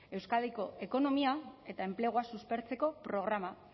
euskadiko ekonomia eta enplegua suspertzeko programa